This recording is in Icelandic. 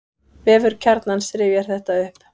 Vefur Kjarnans rifjar þetta upp.